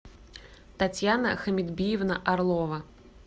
татьяна хамидбиевна орлова